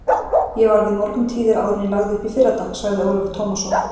Ég var við morguntíðir áður en ég lagði upp í fyrradag, sagði Ólafur Tómasson.